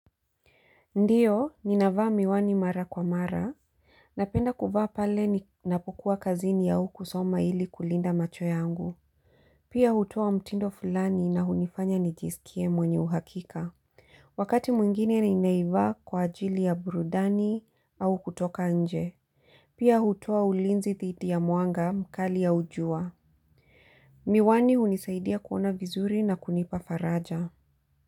Ndio, ninavaa miwani mara kwa mara. Napenda kuvaa pale ninapokuwa kazini au kusoma ili kulinda macho yangu. Pia hutuo mtindo fulani na hunifanya nijisikie mwenye uhakika. Wakati mwingine ninaivaa kwa ajili ya burudani au kutoka nje. Pia hutoa ulinzi thidi ya mwanga mkali au jua. Miwani hunisaidia kuona vizuri na kunipa faraja.